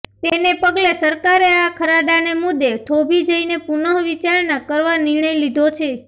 તેને પગલે સરકારે આ ખરડાને મુદ્દે થોભી જઈને પુનઃવિચારણા કરવા નિર્ણય લીધો છે